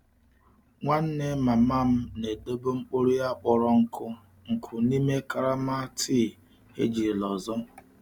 Nwanne mama m na-edobe mkpụrụ ya kpọrọ nkụ nkụ n'ime karama tii ejirila ọzọ.